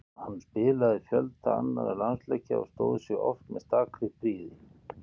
Hann spilaði fjölda annarra landsleikja og stóð sig oft með stakri prýði.